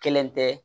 Kelen tɛ